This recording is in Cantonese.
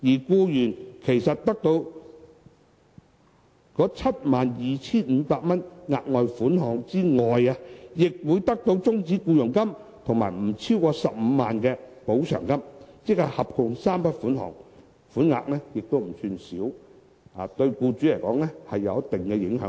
僱員得到 72,500 元額外款項之外，亦會得到終止僱傭金及不超過15萬元的補償，即合共3筆款項，款額不算少，對僱主來說有一定的影響力。